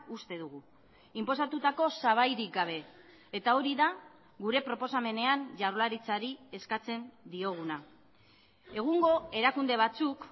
uste dugu inposatutako sabairik gabe eta hori da gure proposamenean jaurlaritzari eskatzen dioguna egungo erakunde batzuk